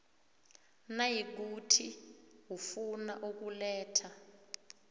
nayikuthi ufuna ukuletha